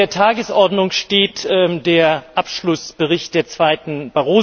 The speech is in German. Auf der Tagesordnung steht der Abschlussbericht der II.